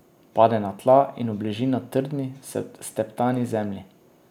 Pade na tla in obleži na trdni, steptani zemlji.